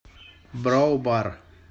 броу бар